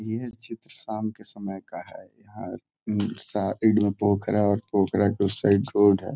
ये चित्र शाम का समय का है। यहाँ पोखरा और पोखरा के उस साइड रोड है।